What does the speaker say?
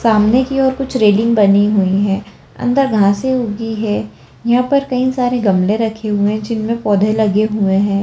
सामने की ओर कुछ रेलिंग बनी हुई है अंदर घासे उगी हैं यहाँ पर कई सारे गमले रखे हुए हैं जीन में पौधे लगे हुए हैं।